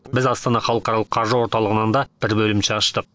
біз астана халықарылық қаржы орталығынан да бір бөлімше аштық